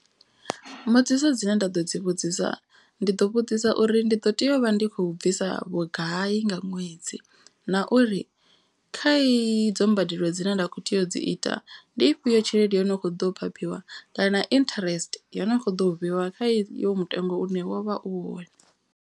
Mbudziso dzine nda ḓo dzi vhudzisa ndi ḓo vhudzisa uri ndi ḓo tea u vha ndi khou bvisa vhugai nga ṅwedzi. Na uri kha iyi dzo mbadelo dzine nda kho tea u dzi ita ndi ifhio tshelede yo no kho ḓo phaphiwa kana interest. Yo no kho ḓo u vheiwa kha i yo mutengo une wo vha u hone.